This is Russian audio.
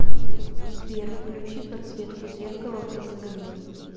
сбер включи подсветку зеркала в гостиной